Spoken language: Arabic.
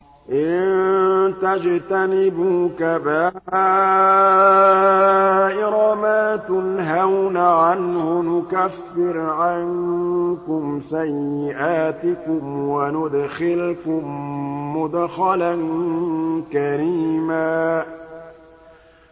إِن تَجْتَنِبُوا كَبَائِرَ مَا تُنْهَوْنَ عَنْهُ نُكَفِّرْ عَنكُمْ سَيِّئَاتِكُمْ وَنُدْخِلْكُم مُّدْخَلًا كَرِيمًا